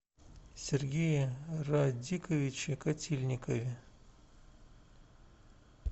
сергее радиковиче котельникове